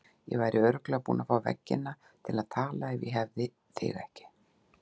Ég væri örugglega búin að fá veggina til að tala ef ég hefði þig ekki.